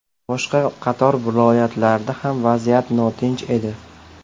Boshqa qator viloyatlarda ham vaziyat notinch edi.